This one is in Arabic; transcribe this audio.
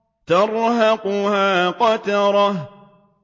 تَرْهَقُهَا قَتَرَةٌ